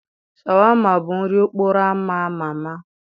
Shawarma bụ nri okporo ámá ama ama.